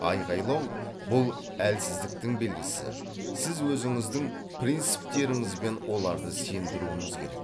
айғайлау бұл әлсіздіктің белгісі сіз өзіңіздің принціптеріңізбен оларды сендіруіңіз керек